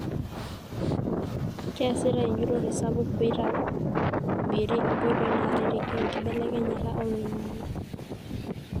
kiasitae enjurore sapuk peitobiri nkotoi narareki enkibelekenyata oloingange.